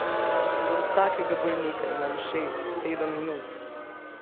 Za vsakega bolnika imam šest, sedem minut.